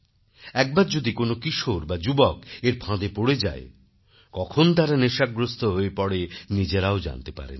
একবার যদি কোন কিশোর বা যুবক এর ফাঁদে পড়ে যায় কখন তারা নেশাগ্রস্ত হয়ে পড়ে নিজেরাও জানতে পারেনা